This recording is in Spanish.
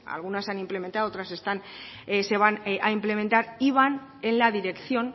algunas se han implementado otras se van a implementar y van en la dirección